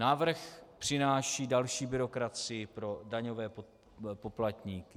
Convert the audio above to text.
Návrh přináší další byrokracii pro daňové poplatníky.